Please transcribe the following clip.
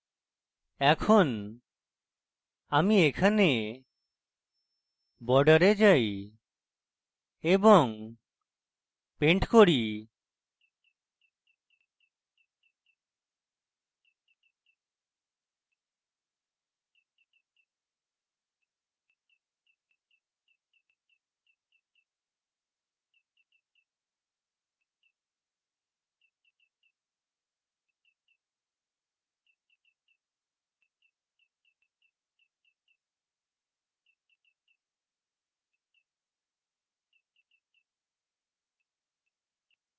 এখন আমি এখানে border যাই এবং paint করি